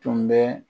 Tun bɛ